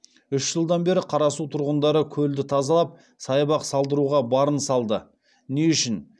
үш жылдан бері қарасу тұрғындары көлді тазалап саябақ салдыруға барын салды не үшін